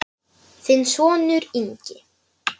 Þinn sonur, Ingi.